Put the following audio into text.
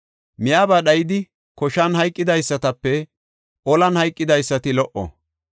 Miyaba dhayidi, koshan hayqidaysatape olan hayqidaysati lo77o.